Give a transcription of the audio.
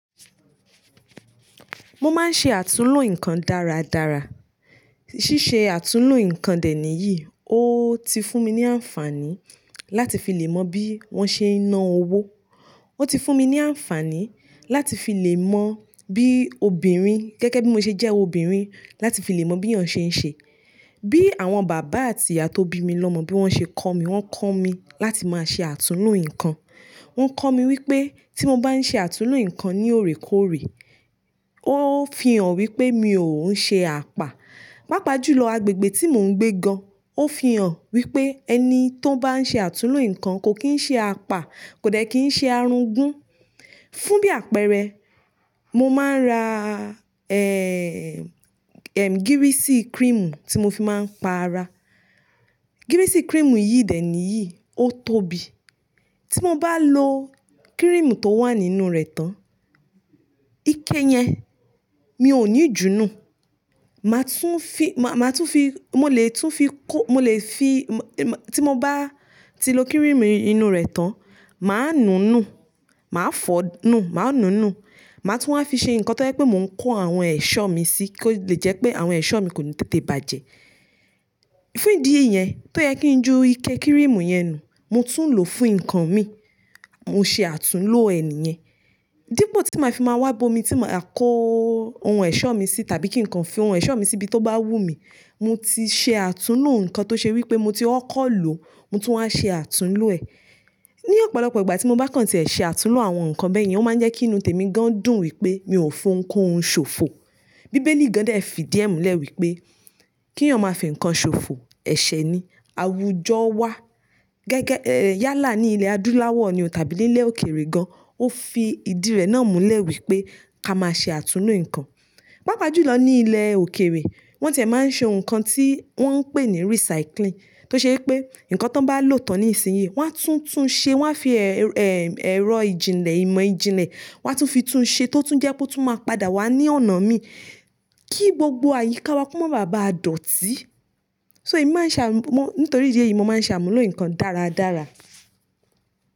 Mo máa ń ṣe àtúnlo nǹkan dáradára. Síse àtúnlo nǹkan dè níyì, ó ti fún mi ní àǹfààní láti fi lè mọ bí wọ́n ṣe ń ná owó. Ó ti fún mi ní àǹfààní láti fi lè mọ bí obìnrin, gẹ́gẹ́ bí mo ṣe jẹ́ obìnrin, láti fi lè mọ bí eyan ṣe ń ṣe. Bí àwọn bàbá àti ìyá tó bí mi lọ́mọ bí wọ́n ṣe kọ́ mi, wọ́n kọ́ mi láti máa ṣe àtúnlo nǹkan. Wọ́n kọ́ mi wípé tí mo bá ń ṣe àtúnlo nǹkan ní òrèkóòrè, ó fi hàn wípé mi ò ń ṣe àpá. Pápá jùlọ agbègbè tí mò ń gbé gan, ó fi hàn wípé ẹni tó bá ń ṣe àtúnlo nǹkan kò kín ń ṣe àpá, kò dẹ́ kí ń ṣe arúgbó. Fún bí àpẹẹrẹ, mo máa ń ra, ẹ́ẹ́, ẹ̀m, gírísì cream tí mo fi máa ń pa ara. Gírísì cream yìí dè níyì, ó tóbi. Tí mo bá lo cream tó wà nínú rẹ̀ tán, ike yẹn mi ò ní jùú nù. Mà tún fi, mà tún fi, mo lè tún fi kó, mo lè fi, tí mo bá ti lo cream inú rẹ̀ tán, màá nu nù, màá fọ̀ nù, màá nu nù. Mà tún wá fi ṣe nǹkan tó jẹ́ pé mò ń kó àwọn ẹ̀ṣọ́ mi sí, kí ó le jẹ́ pé àwọn ẹ̀ṣọ́ mi kò ní tètè bàjẹ́. Fún ìdí yẹn, tó yẹ kí n ju ike cream yẹn nù, mo tún lò fún nǹkan mi. Mo ṣe àtúnlo ẹ̀ nìyẹn. Dípò tí màá fi máa wá bo mi tí màá kó ohun ẹ̀ṣọ́ mi sí tàbí kí nǹkan fi ohun ẹ̀ṣọ́ mi sí bí to bá wú mi, mo ti ṣe àtúnlo nǹkan tó ṣe wípé mo ti ó kọ́ lò, mo tún wá ṣe àtúnlo ẹ̀. Ni ọ̀pọ̀lọpọ̀ ìgbà tí mo bá kàn tí ẹ̀ ṣe àtúnlo àwọn nǹkan bẹ́yẹn, ó máa ń jẹ́ kí inú tèmi gan dùn wípé mi ò ń fọn kó ohun ṣòfò. Bíbélì gan dẹ̀ fi díẹ̀ múlẹ̀ wípé kí èyàn máa fi nǹkan ṣòfò, ẹ̀ṣẹ̀ ni. Àwùjọ wa gẹ́gẹ́, ẹ́ẹ́, yálà ní ilẹ̀ adúláwọ̀ ni o tàbí ní ilẹ̀ òkèrè gan, ó fi ìdí rẹ̀ náà múlẹ̀ wípé ká máa ṣe àtúnlo nǹkan. Pápá jùlọ ní ilẹ̀ òkèrè, wọ́n ti ẹ̀ máa ń ṣe ohun kan tí wọ́n ń pè ní recycling tó ṣe pé nǹkan tó bá lò tán ní ìsìnyí, wọ́n á tún tún un ṣe, wọ́n á fi ẹ, ẹ̀m, ẹ̀rọ ìjìnlẹ̀, ìmọ̀ ìjìnlẹ̀, wọ́n á tún fi tún un ṣe tó tún jẹ́ pé ó tún máa padà wá ní ọ̀nà mi kí gbogbo àyíká wa kú mọ́ bàbá a dọ̀tí. So èmi máa ń ṣàmú-mó nítorí ìdí èyí mo máa ń ṣàmúlò nǹkan dáradára.